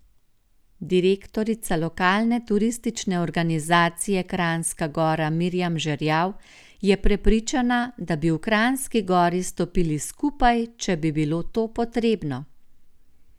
Direktorica Lokalne turistične organizacije Kranjska Gora Mirjam Žerjav je prepričana, da bi v Kranjski Gori stopili skupaj, če bi bilo to potrebno.